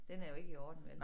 Den er jo ikke i orden vel